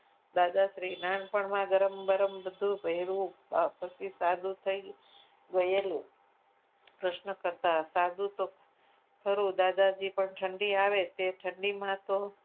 દાદાશ્રી નાનપણમાં ગરમ બરમ બધું પહેરવું પછી સાદું થઈ થઈ ગયેલું પ્રશ્ન કરતાં સાધુ તો સારું દાદાજી પણ ઠંડી આવે તો એ ઠંડીમાં તો